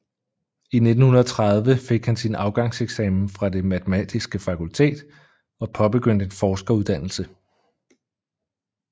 I 1930 fik han sin afgangseksamen fra det matematiske fakultet og påbegyndte en forskeruddannelse